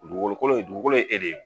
Dugukolo kolo, dugukolo ye e de ye.